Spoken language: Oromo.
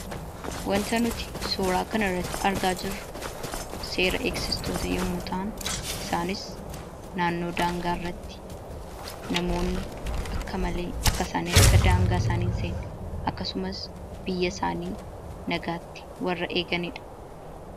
Wanta nuti suuraa kana irratti argaa jirru seera eegsistoota yemmuu ta'an, isaanis naannoo daangaa irratti namoonni akka malee akka daangaa isaanii hin seenne, akkasumas biyya isaanii nagaatti warra eeganiidha.